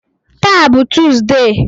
Taa bụ Tọzdee